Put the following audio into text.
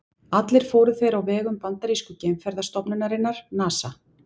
Allir fóru þeir á vegum bandarísku geimferðastofnunarinnar NASA.